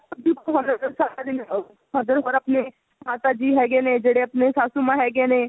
ਆਪਾਂ ਦੁੱਧ ਪਿਲਾਉਣੇ ਆਂ ਹੋਰ ਸਾਰਾ ਦਿਨ mother ਹੋਰ ਆਪਣੇ ਮਾਤਾ ਜੀ ਹੈਗੇ ਨੇ ਜਿਹੜੇ ਆਪਣੇ ਸਾਸੂਮਾਂ ਹੈਗੇ ਨੇ